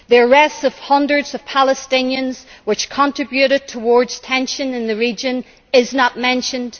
The arrests of hundreds of Palestinians, which contributed towards tension in the region, are not mentioned.